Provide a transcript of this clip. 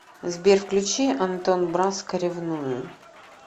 сбер включи антон браско ревную